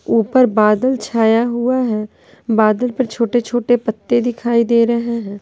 ऊपर बादल छाया हुआ है बादल पर छोटे-छोटे पत्ते दिखाई दे रहे हैं।